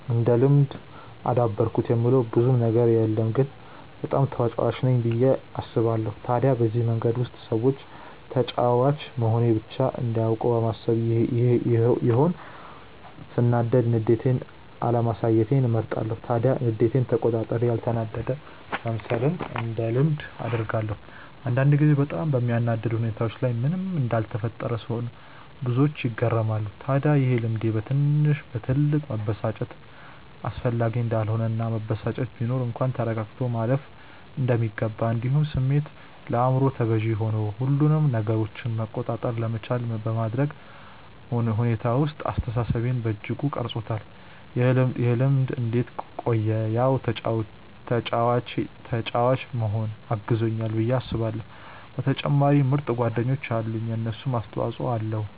እንደ ልምድ አዳበርኩት የምለው ብዙም ነገር የለም ግን በጣም ተጫዋች ነኝ ብዬ አስባለው። ታዲያ በዚህ መንገድ ውስጥ ሰዎች ተጫዋች መሆኔን ብቻ እንዲያውቁ በማሰብ ይሆን ሰናዳድ ንዴቴን አለማሳየትን እመርጣለው። ታዲያ ንዴቴን ተቆጣጥሬ ያልተናደደ መምሰልን እንደ ልምድ አድርጌዋለው። አንዳንድ ጊዜ በጣም በሚያናድድ ሁኔታዎች ላይ ምንም እንዳልተፈጠረ ስሆን ብዙዎች ይገረማሉ። ታድያ ይሄ ልምዴ በትንሽ በትልቁ መበሳጨት አስፈላጊ እንዳልሆነ እና መበሳጨት ቢኖር እንኳን ተረጋግቶ ማለፍ እንደሚገባ እንዲሁም ስሜት ለአይምሮ ተገዢ ሆኑ ሁሉንም ነገራችንን መቆጣጠር ለመቻል በማድረግ ሁኔታ ውስጥ አስተሳሰቤን በእጅጉ ቀርፆታል። ይህ ልምድ እንዴት ቆየ ያው ተጫዋች መሆኔ አግዞኛል ብዬ አስባለው በተጨማሪም ምርጥ ጓደኞች አሉኝ የነሱም አስተፆይ ኣለዉ።